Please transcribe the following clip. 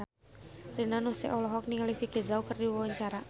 Rina Nose olohok ningali Vicki Zao keur diwawancara